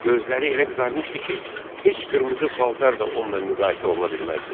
Gözləri elə qızarmışdı ki, heç qırmızı paltar da onunla müqayisə oluna bilməzdi.